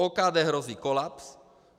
OKD hrozí kolaps.